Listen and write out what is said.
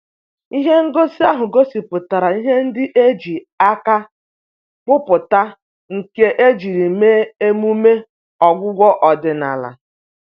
Ihe ngosi ahụ gosipụtara ihe ndị e ji aka kpụpụta nke ejiri mee emume ọgwụgwọ ọdịnala.